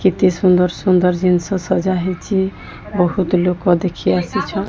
କେତେ ସୁନ୍ଦର୍ ସୁନ୍ଦର୍ ଜିନିଷ ସଜା ହେଇଛି। ବୋହୁତ୍ ଲୋକ ଦେଖି ଆସିଛନ୍।